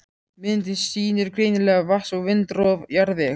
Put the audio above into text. Myndin sýnir greinilega vatns- og vindrof jarðvegs.